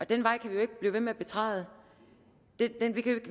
den vej kan vi jo ikke blive ved med at betræde